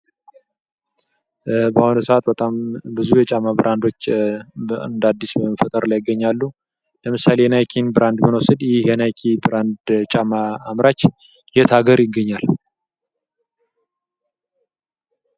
በአሁኑ ሰዓት በጣም ብዙ የጫማ ብራንዶች እንደ አዲስ በመፈጠር ላይ ይገኛሉ። ለምሳሌ የናይክን ብራንድ ብነወስት ይህ የናይክ ብራንድ ጫማ አምራች የት ሃገር ይገኛል?